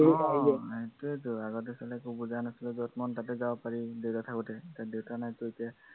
সেইটোৱেইতো আগতো একো বুজা নাছিলো, যত মন তাতে যাব পাৰি, দেউতা থাকোতে, এতিয়া দেউতা নাইতো এতিয়া